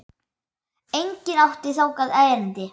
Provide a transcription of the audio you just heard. Enginn átti þangað erindi.